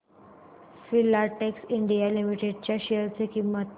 Filatex India Limited च्या share ची किंमत